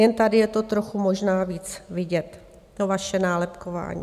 Jen tady je to trochu možná víc vidět, to vaše nálepkování.